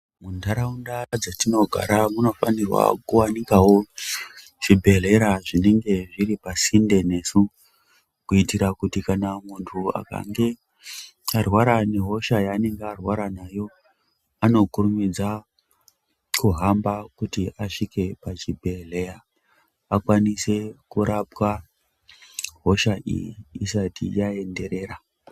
Muntaraunda dzetinogara munofanirwa kuwanikawo zvibhedhlera zvinenge zviri pasinde nesu kuitira kuti kana muntu akange arwara nehosha yaanenge arwara nayo anokurumidza kuhamba kuti asvike pachibhedhleya akwanise kurapwa hosha iyi isati yaenderera.